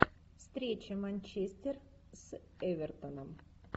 встреча манчестер с эвертоном